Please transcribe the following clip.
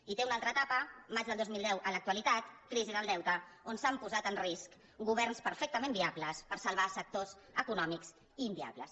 i té una altra etapa maig del dos mil deu a l’actualitat crisi del deute on s’han posat en risc governs perfectament viables per salvar sectors econòmics inviables